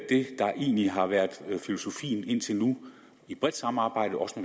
der egentlig har været filosofien indtil nu i et bredt samarbejde også